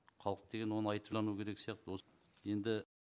халық деген оны айтып тану керек сияқты осы енді